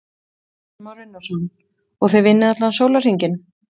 Kristján Már Unnarsson: Og þið vinnið allan sólarhringinn?